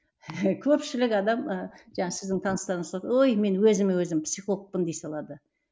көпшілік адам ы жаңағы сіздің таныстарыңыз құсап ой мен өзіме өзім психологпын дей салады